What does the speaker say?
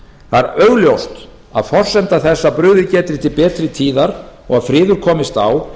það er augljóst að forsenda þess að brugðið geti til betri tíðar og að friður komist á